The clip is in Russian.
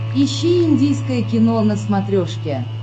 ищи индийское кино на смотрешке